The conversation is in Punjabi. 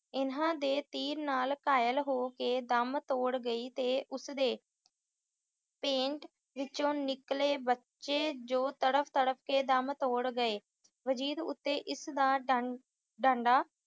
ਇਨ੍ਹਾਂ ਦੇ ਤੀਰ ਨਾਲ ਘਾਇਲ ਹੋ ਕੇ ਦਮ ਤੋੜ ਗਈ ਅਤੇ ਉਸਦੇ ਪੇਟ ਵਿਚੋਂ ਨਿਕਲੇ ਬੱਚੇ ਜੋ ਤੜਫ-ਤੜਫ ਕੇ ਦਮ ਤੋੜ ਗਏ। ਵਜੀਦ ਉੱਤੇ ਇਸ ਦਾ ਡਾ~ ਡਾਢਾ